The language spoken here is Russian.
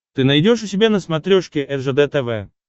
ты найдешь у себя на смотрешке ржд тв